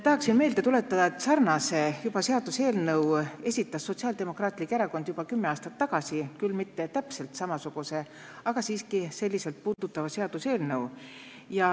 Tahan meelde tuletada, et sarnase seaduseelnõu esitas Sotsiaaldemokraatlik Erakond juba kümme aastat tagasi, küll mitte täpselt samasuguse, aga siiski seda teemat puudutava seaduseelnõu.